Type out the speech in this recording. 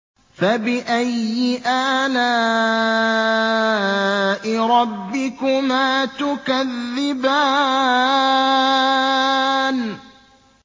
فَبِأَيِّ آلَاءِ رَبِّكُمَا تُكَذِّبَانِ